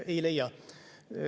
Ei leia.